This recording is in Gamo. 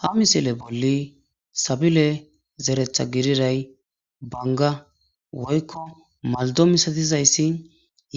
ha misile bolla sabile zeretha gididay banga woykko malddo misatizayssi